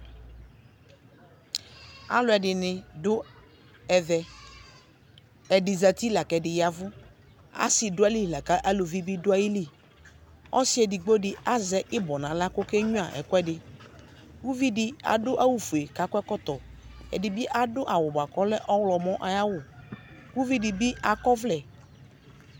Alʋ ɛdini dʋ ɛvɛ Ɛdi zati la kʋ ɛdi ya vʋ Asi dʋ ayili la kʋ alʋvi bi dʋ ayili Ɔsi edigbo di azɛ ibɔ n'aɣla kʋ okenyua ikʋɛdi Uvi di adʋ awʋ fue kʋ akɔ ɛkɔtɔ Ɛdi bi adʋ awʋ boa kʋ ɔlɛ ɔwlɔmɔ ayawʋ Uvi di bi akɔ ɔvlɛ